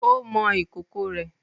o mọ ikoko rẹ.